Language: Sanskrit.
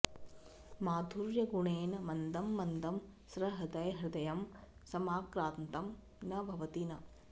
माधुर्यगुणेन मन्दं मन्दं सहृदयहृदयं समाक्रान्तं न भवति न